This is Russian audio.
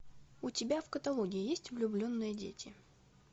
у тебя в каталоге есть влюбленные дети